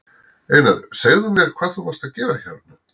Einar, segðu mér hvað varst þú að gera hérna?